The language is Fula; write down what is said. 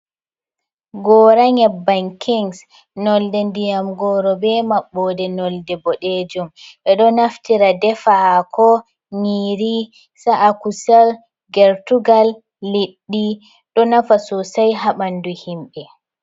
Gora nyebbam kings, nolde ndiyam goro, be maɓɓode nolde boɗejum ɓeɗo naftira defa hako, nyiiri, sa’a kusal gertugal, liɗɗi, ɗo nafa sosai ha ɓandu himɓe.